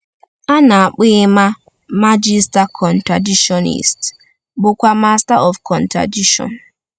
A na-akpọ Emma Magister Contradictionis, bụ́kwa Master of Contradiction.